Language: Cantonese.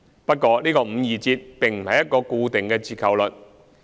不過，這個五二折並不是一個固定的折扣率。